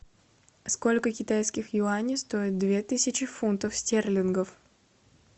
сколько китайских юаней стоит две тысячи фунтов стерлингов